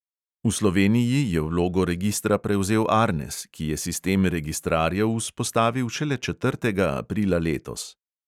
V sloveniji je vlogo registra prevzel arnes, ki je sistem registrarjev vzpostavil šele četrtega aprila letos.